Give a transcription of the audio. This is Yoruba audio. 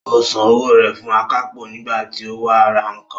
Ó san owó rẹ̀ fún akápò nígbà tí ó wá ra nǹkan